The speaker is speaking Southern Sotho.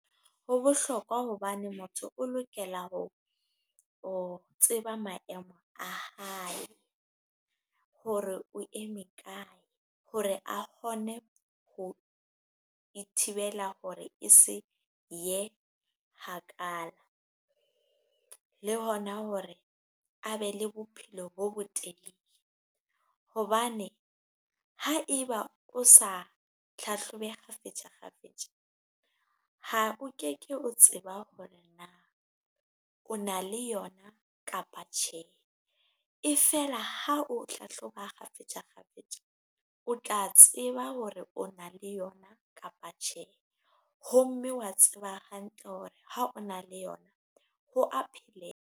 Ho bohlokwa hobane motho o lokela ho ho tseba maemo a hae, hore o eme kae hore a kgone ho ithibela hore e se ye kgakala, le hona hore a be le bophelo bo bo telele. Hobane ha eba o sa hlahlobe kgafetsa kgafetsa, ha o ke ke o tseba hore na o na le yona kapa tjhe, e feela ha o hlahloba kgafetsa kgafetsa, o tla tseba hore o na le yona kapa tjhe, ho mme wa tseba hantle hore ha o na le yona ho a pheleha.